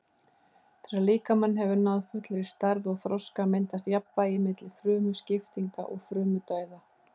Þegar líkaminn hefur náð fullri stærð og þroska myndast jafnvægi milli frumuskiptinga og frumudauða.